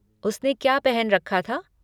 उसने क्या पहन रखा था?